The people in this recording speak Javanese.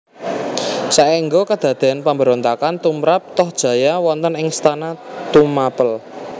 Saengga kadadean pemberontakan tumrap Tohjaya wonten ing istana Tumapel